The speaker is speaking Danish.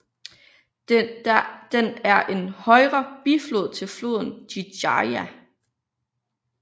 Den er en højre biflod til floden Jijia